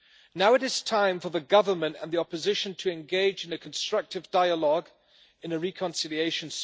Now it is time for the government and the opposition to engage in a constructive dialogue in a spirit of reconciliation.